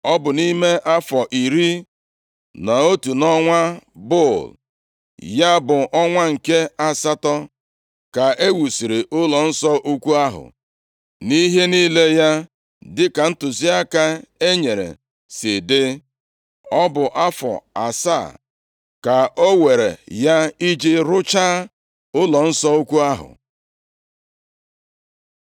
Ọ bụ nʼime afọ iri na otu, nʼọnwa Bul, + 6:38 Ọnwa Bul, bụ ọnwa nke asatọ, nʼọnụọgụgụ afọ ndị Juu, ma bụrụ ọnwa iri nʼafọ nʼọnụọgụgụ ugbu a. ya bụ ọnwa nke asatọ, ka e wusiri ụlọnsọ ukwu ahụ, nʼihe niile ya dịka ntụziaka e nyere si dị. Ọ bụ afọ asaa ka o weere ya i ji rụchaa ụlọnsọ ukwu ahụ.